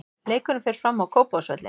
Leikurinn fer fram á Kópavogsvelli.